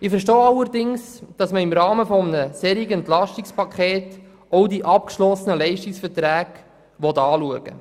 Ich verstehe allerdings, dass man im Rahmen eines EP auch die abgeschlossenen Leistungsverträge prüft.